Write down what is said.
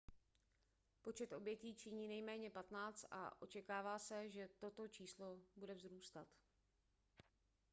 počet obětí činí nejméně 15 a očekává se že toto číslo bude vzrůstat